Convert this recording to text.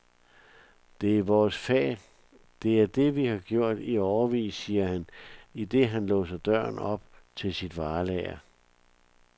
Det er vores fag, det er det, vi har gjort i årevis, siger han, idet han låser døren op til sit varelager.